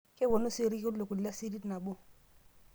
kepuoni sii elkuli le sirit nabo